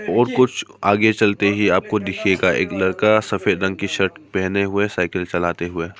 और कुछ आगे चलते ही आपको दिखेगा एक लड़का सफेद रंग की शर्ट पहने हुए है साइकिल चलाते हुए।